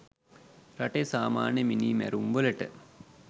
රටේ සාමාන්‍ය මිනීමැරුම් වලට